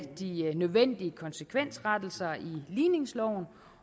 de nødvendige konsekvensrettelser i ligningsloven